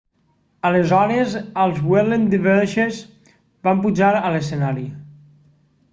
aleshores els whirling dervishes van pujar a lescenari